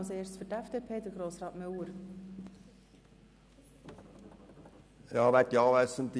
Als Erstes spricht Grossrat Müller für die FDP.